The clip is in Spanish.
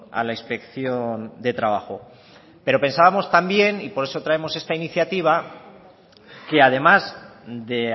a la inspección de trabajo pero pensábamos también y por eso traemos esta iniciativa que además de